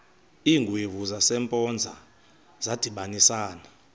iingwevu zasempoza zadibanisana